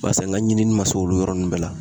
Barisa n ka ɲinini ma se olu yɔrɔ nunnu bɛɛ la.